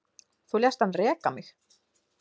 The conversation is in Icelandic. Þú lést hann reka mig